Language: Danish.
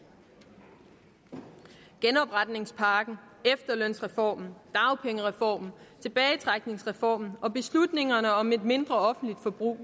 genopretningspakken efterlønsreformen dagpengereformen tilbagetrækningsreformen og beslutningerne om et mindre offentligt forbrug